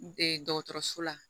dɔgɔtɔrɔso la